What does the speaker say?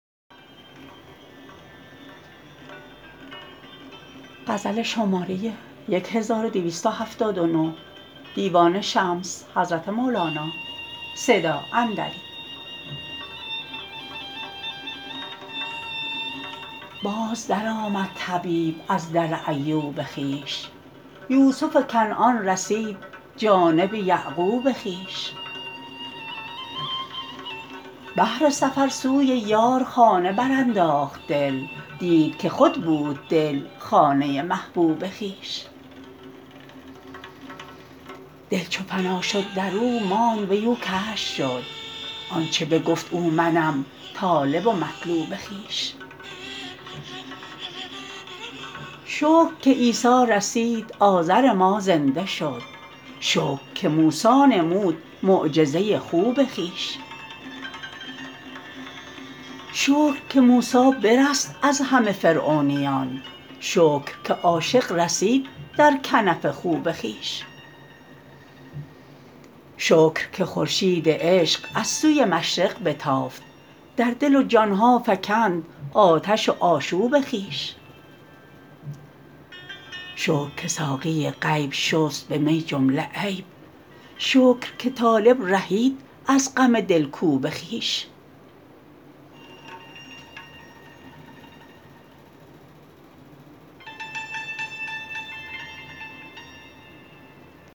باز درآمد طبیب از در ایوب خویش یوسف کنعان رسید جانب یعقوب خویش بهر سفر سوی یار خانه برانداخت دل دید که خود بود دل خانه محبوب خویش دل چو فنا شد در او ماند وی او کشف شد آنچ بگفت او منم طالب و مطلوب خویش شکر که عیسی رسید عازر ما زنده شد شکر که موسی نمود معجزه خوب خویش شکر که موسی برست از همه فرعونیان شکر که عاشق رسید در کنف خوب خویش شکر که خورشید عشق از سوی مشرق بتافت در دل و جان ها فکند آتش و آشوب خویش شکر که ساقی غیب شست به می جمله عیب شکر که طالب رهید از غم دلکوب خویش